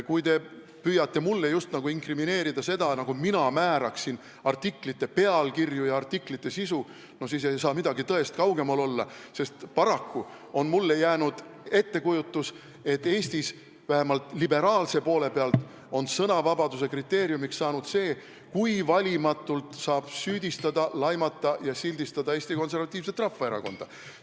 Kui te püüate mulle inkrimineerida seda, nagu mina määraksin kindlaks artiklite pealkirju ja sisu, siis ei saa tõest midagi kaugemat olla, sest paraku on mulle jäänud ettekujutus, et Eestis – vähemalt liberaalse poole pealt – on sõnavabaduse kriteeriumiks saanud see, kui valimatult saab süüdistada, laimata ja sildistada Eesti Konservatiivset Rahvaerakonda.